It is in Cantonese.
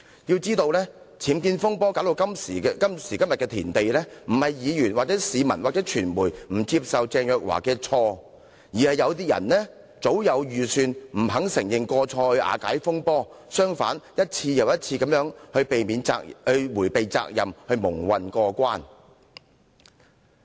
須知道，僭建風波弄至今時今日的田地，並非議員、市民或傳媒不肯接受鄭若驊司長所犯的過錯，而是有人早有計算，不肯承認過錯以瓦解這場風波，還一而再地想逃避責任，蒙混過關。